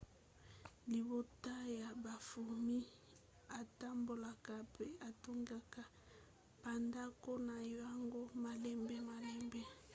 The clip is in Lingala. libota ya bafourmis etambolaka pe etongaka bandako na yango malembe-malembe